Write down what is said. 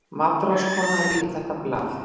MATRÁÐSKONA: Rífið þetta blað!